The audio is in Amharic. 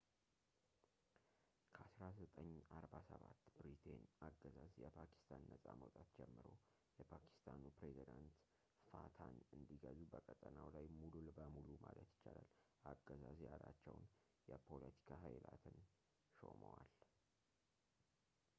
"ከ1947 ብሪቴይን አገዛዝ የፓኪስታን ነጻ መውጣት ጀምሮ፣ የፓኪስታኑ ፕሬዝደንት fataን እንዲገዙ በቀጠናው ላይ ሙሉ በሙሉ ማለት ይቻላል አገዛዝ ያላቸውን የ”ፖለቲካ ኃይላትን” ሾመዋል።